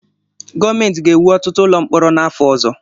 Gọọmenti ga-ewu ọtụtụ ụlọ mkpọrọ n'afọ ọzọ